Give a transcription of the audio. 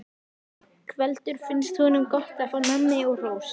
Ingveldur: Finnst honum gott að fá nammi og hrós?